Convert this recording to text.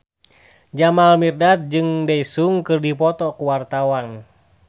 Jamal Mirdad jeung Daesung keur dipoto ku wartawan